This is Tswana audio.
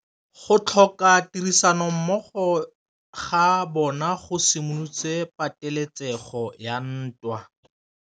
Go tlhoka tirsanommogo ga bone go simolotse patêlêsêgô ya ntwa.